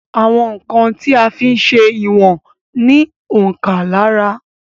Àwọn ǹkan tí a ń fí ń ṣé ìwọ̀n ní òǹkà lára